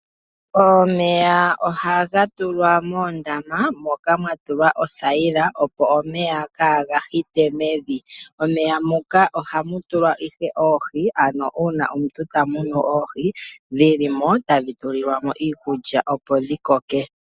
Omeya ohaga tulwa moondama, moka mwa tulwa othayila, opo omeya kaaga hite mevi. Momeya muka ohamu tulwa oohi, ano uuna omuntu tamunu oohi, dhilimo tadhi tulilwamo iikulya, opo dhi koke.